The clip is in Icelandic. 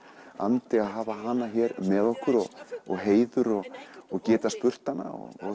andi að hafa hana hérna með okkur og heiður og geta spurt hana